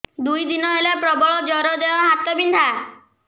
ଦୁଇ ଦିନ ହେଲା ପ୍ରବଳ ଜର ଦେହ ହାତ ବିନ୍ଧା